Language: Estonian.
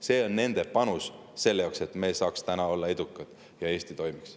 See on nende panus sellesse, et me saaks täna olla edukad ja Eesti toimiks.